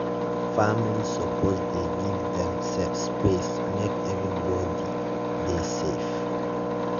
family suppose dey gree give demsef space make everybody make everybody dey safe.